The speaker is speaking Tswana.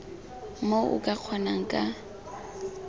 moo o ka kgonang ka